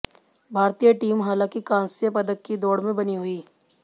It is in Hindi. भारतीय टीम हालांकि कांस्य पदक की दौड़ में बनी हुई